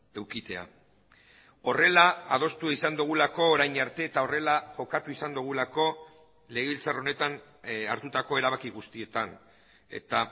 edukitzea horrela adostu izan dugulako orain arte eta horrela jokatu izan dugulako legebiltzar honetan hartutako erabaki guztietan eta